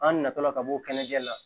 An nata la ka b'o kɛnɛjɛ la